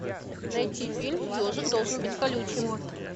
найти фильм ежик должен быть колючим